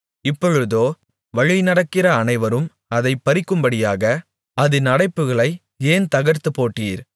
இப்பொழுதோ வழிநடக்கிற அனைவரும் அதைப் பறிக்கும்படியாக அதின் அடைப்புகளை ஏன் தகர்த்துப்போட்டீர்